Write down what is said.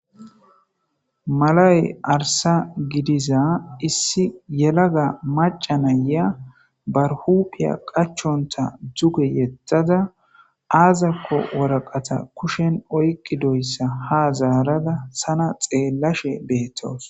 malaye arsa gidiza issi yelaga macanaya barhuphiya qachonta duge yettada aazakko woraqata kushen oyqi doyssa ha zaarada sana xeellashe beettos